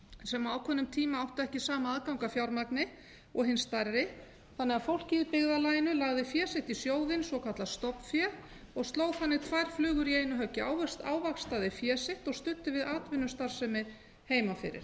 sem á ákveðnum tíma áttu ekki sama aðgang að fjármagni og hin stærri þannig að fólkið í byggðarlaginu lagði fé sitt í sjóðinn svokallað stofnfé g sló þannig tvær flugur í einu höggi ávaxtaði fé sitt og studdi við atvinnustarfsemi heima fyrir